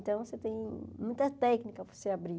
Então, você tem muita técnica para você abrir.